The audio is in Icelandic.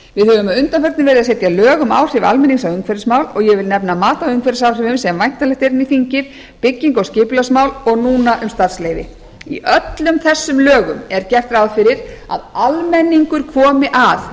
við höfum að undanförnu verið að setja lög um áhrif almennings á umhverfismál og ég vil nefna mat á umhverfisáhrifum sem væntanlegt er inn í þingið byggingar og skipulagsmál og núna um starfsleyfi í öllum þessum lögum er gert ráð fyrir að almenningur komi að með